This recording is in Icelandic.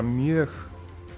mjög